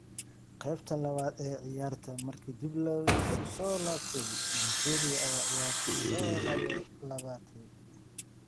Qeybtii labaad ee ciyaarta markii dib la isugu soo laabtay Nigeria ayaa ciyaarta soo laabatay.